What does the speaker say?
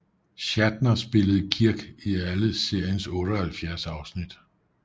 Shatner spillede Kirk i alle seriens 78 afsnit